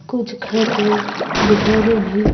कुछ घर और दुकानें भी--